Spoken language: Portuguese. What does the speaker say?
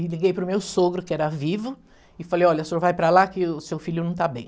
E liguei para o meu sogro, que era vivo, e falei, olha, o senhor vai para lá que o seu filho não está bem.